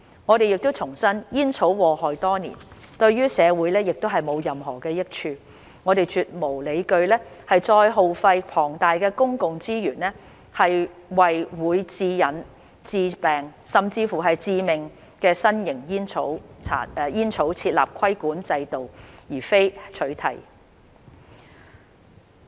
我們重申，煙草禍害多年，對社會亦無任何益處，我們絕無理據再耗費龐大公共資源為會致癮、致病甚或致命的新型煙草設立規管制度而非取締。